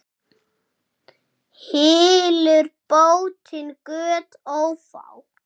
Hylur bótin göt ófá.